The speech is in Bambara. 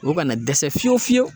O kana dɛsɛ fiyew fiyewu